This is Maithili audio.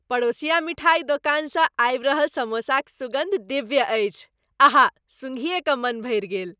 पड़ोसिया मिठाइ दोकानसँ आबि रहल समोसाक सुगन्ध दिव्य अछि। अहा, सुँघिये क मन भरि गेल।